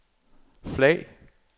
flag